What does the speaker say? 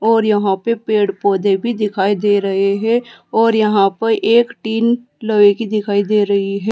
और यहां पे पेड़ पौधे भी दिखाई दे रखे हैं और यहां प एक टीन लोहे की दिखाई दे रही है।